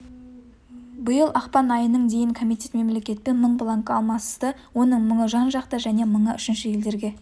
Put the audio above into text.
биыл ақпан айының дейін комитет мемлекетпен мың бланкі алмасысты оның мыңы жан-жақты және мыңы үшінші елдерге